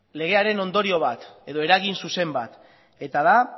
legearen ondorio bat edo eragin zuzen bat eta da